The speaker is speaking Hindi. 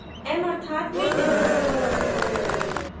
m अर्थात maintainers